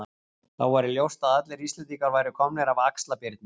Þá væri ljóst að allir Íslendingar væru komnir af Axlar-Birni.